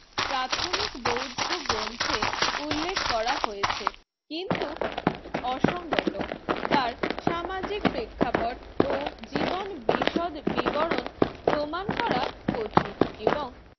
প্রাথমিক বৌদ্ধ গ্রন্থের উল্লেখ করা হয়েছে। কিন্তু অসঙ্গত তার সামাজিক প্রেক্ষাপট ও জীবন বিশদ বিবরণ প্রমাণ করা কঠিন এবং